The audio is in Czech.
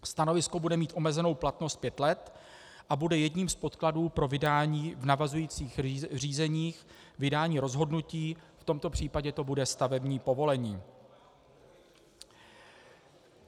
Stanovisko bude mít omezenou platnost pět let a bude jedním z podkladů pro vydání v navazujících řízeních vydání rozhodnutí, v tomto případě to bude stavební povolení.